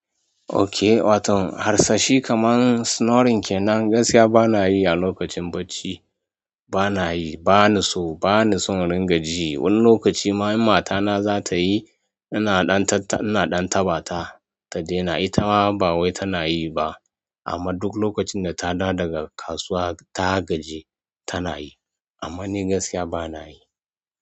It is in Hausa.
Okay, watau harsashi kaman snoring kenan, gaskiya bana yi a lokacin bacci. Bana yi, bani so, bani son ringa ji. Wani lokaci ma idan matana za ta yi, ina ɗan taɓa ta ta daina. Ita ma ba wai tana yi ba, amma duk lokacin da ta dawo daga kasuwa ta gaji tana yi. Amma ni gaskiya bana yi.